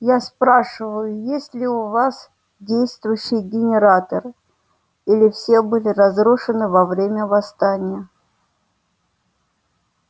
я спрашиваю есть ли у вас действующие генераторы или все было разрушено во время восстания